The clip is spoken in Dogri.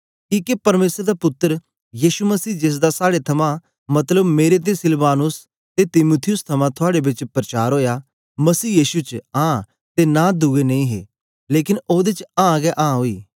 किके परमेसर दा पुत्तर यीशु मसीह जेसदा साड़े थमां मतलब मेरे ते सिलवानुस ते तीमुथियुस थमां थुआड़े बेच परचार ओया मसीह यीशु च आं ते नां दुए नेई हे लेकन ओदे च आं गै आं ओई